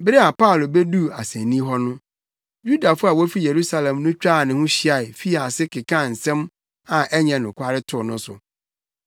Bere a Paulo beduu asennii hɔ no, Yudafo a wofi Yerusalem no twaa ne ho hyiae fii ase kekaa nsɛm a ɛnyɛ nokware too no so.